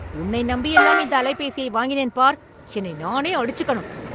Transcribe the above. உன்னை நம்பியெல்லாம் இந்த அலைபேசியை வாங்கினேன் பார், என்னை நானே அடிச்சுக்கனும்